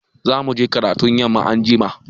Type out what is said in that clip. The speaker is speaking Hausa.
Za mu je karatun yamma anjima.